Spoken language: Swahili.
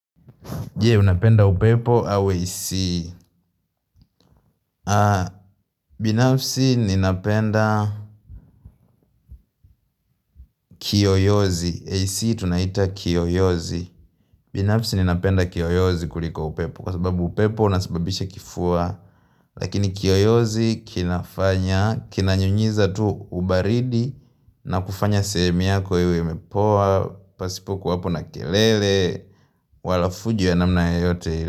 Je unapenda upepo au AC binafsi ninapenda kiyoyozi AC tunaita kiyoyozi binafsi ninapenda kiyoyozi kuliko upepo Kwa sababu upepo unasababisha kifua Lakini kiyoyozi kinafanya Kinanyunyiza tu ubaridi na kufanya sehemu yako yawe yamepoa Pasipokuwapo na kelele Walafujo ya namna ya yoyote.